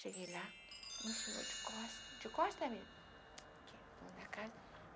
Cheguei lá, de costa, de costa mesmo.